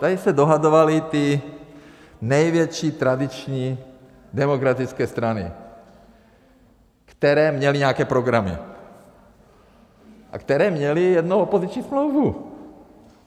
Tady se dohadovaly ty největší tradiční demokratické strany, které měly nějaké programy a které měly jednou opoziční smlouvu.